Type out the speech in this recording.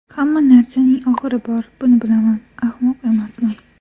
Hamma narsaning oxiri bor, buni bilaman, ahmoq emasman.